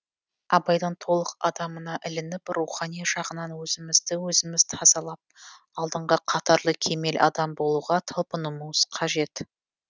абайдың толық адамына ілініп рухани жағынан өзімізді өзіміз тазалап алдыңғы қатарлы кемел адам болуға талпынуымыз қажет